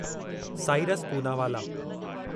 Cyrus Poonawalla